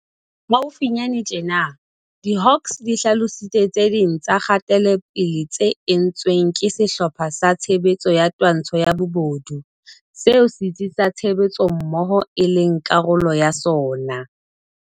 Haufinyane tjena, diHawks di hlalositse tse ding tsa kgatelopele tse entsweng ke Sehlopha sa Tshebetso sa Twantsho ya Bobodu, seo Setsi sa Tshebetsommoho e leng karolo ya sona.